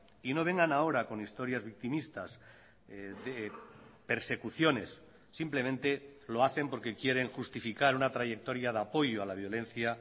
y no vengan ahora con historias victimistas de persecuciones simplemente lo hacen porque quieren justificar una trayectoria de apoyo a la violencia